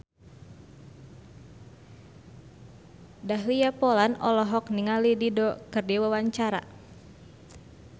Dahlia Poland olohok ningali Dido keur diwawancara